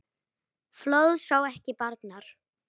Fljóð sá ekki barnar.